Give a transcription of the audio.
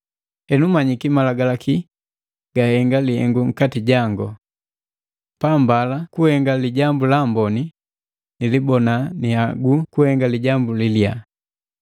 Henu manyiki Malagalaki gahenga lihengu nkati jangu: Pambala kuhenga lijambu laamboni, nilibona nihaguu kuhenga lijambu li liyaa.